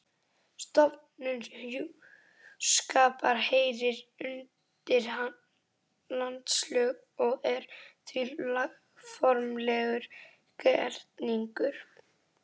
Stofnun hjúskapar heyrir undir landslög og er því lögformlegur gerningur.